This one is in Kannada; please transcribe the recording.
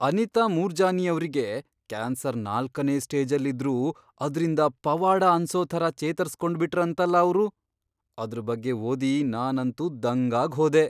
ಅನಿತಾ ಮೂರ್ಜಾನಿಯವ್ರಿಗೆ ಕ್ಯಾನ್ಸರ್ ನಾಲ್ಕನೇ ಸ್ಟೇಜಲ್ಲಿದ್ರೂ ಅದ್ರಿಂದ ಪವಾಡ ಅನ್ಸೋ ಥರ ಚೇತರ್ಸ್ಕೊಂಡ್ಬಿಟ್ರಂತಲ ಅವ್ರು, ಅದ್ರ್ ಬಗ್ಗೆ ಓದಿ ನಾನಂತೂ ದಂಗಾಗ್ಹೋದೆ.